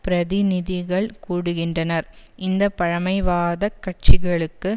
பிரதிநிதிகள் கூடுகின்றனர் இந்த பழைமைவாதக் கட்சிகளுக்கு